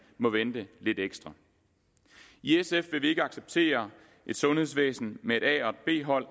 må vente lidt ekstra i sf vil vi ikke acceptere et sundhedsvæsen med et a og et b hold